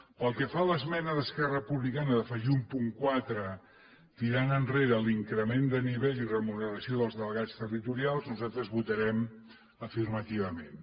pel que fa a l’esmena d’esquerra republicana d’afegir un punt quatre tirant enrere l’increment de nivell i remuneració dels delegats territorials nosaltres hi votarem afirmativament